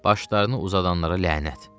Başlarını uzadanlara lənət.